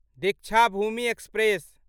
Deekshabhoomi express